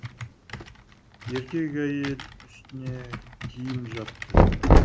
еркек әйел үстіне киім жапты